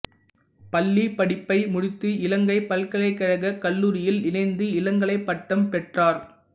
பள்ளிப் படிப்பை முடித்து இலங்கைப் பல்கலைக்கழகக் கல்லூரியில் இணைந்து இளங்கலைப் பட்டம் பெற்றார்